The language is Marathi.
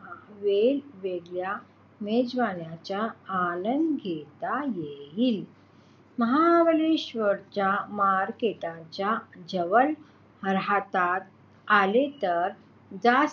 वेगवेगळ्या मेजवान्यांच्या आनंद घेता येईल. महाबळेश्वरच्या market जवळ राहता आले तर जास्त